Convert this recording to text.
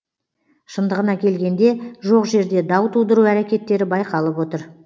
шындығына келгенде жоқ жерде дау тудыру әрекеттері байқалып отыр